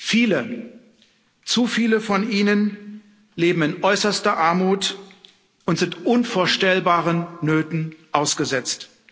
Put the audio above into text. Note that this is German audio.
Viele, zu viele von ihnen leben in äußerster Armut und sind unvorstellbaren Nöten ausgesetzt.